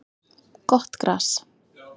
Gott gras